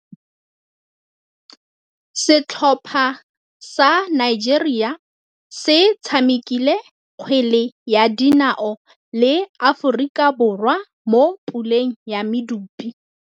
Setlhopha sa Nigeria se tshamekile kgwele ya dinaô le Aforika Borwa mo puleng ya medupe.